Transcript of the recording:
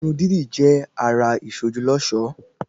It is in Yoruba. Irun dídì jẹ àrà isoju l'ọṣọ